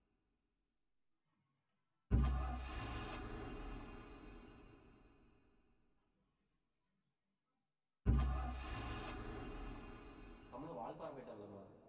கம்முன்னு வால்பாறை போயிட்டு வரலாமா